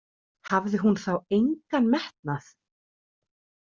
Hafði hún þá engan metnað?